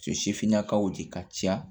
nakaw de ka ca